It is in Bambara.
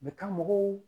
Bɛ ka mɔgɔw